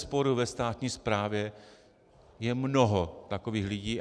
Bezesporu ve státní správě je mnoho takových lidí.